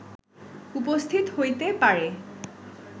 উপস্থিত হইতে পারে